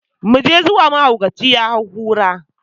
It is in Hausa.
mu je zuwa mahaukaci ya hau kura